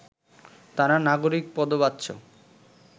তারা নাগরিক পদবাচ্য